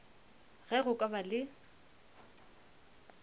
ge go ka ba le